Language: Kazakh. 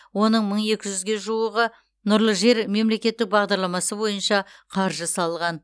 оның мың екі жүзге жуығы нұрлы жер мемлекеттік бағдарламасы бойынша қаржы салған